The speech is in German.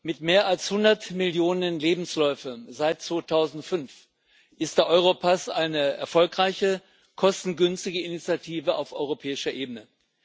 Mit mehr als 100 Millionen Lebensläufen seit 2005 ist der Europass eine erfolgreiche, kostengünstige Initiative auf europäischer Ebene.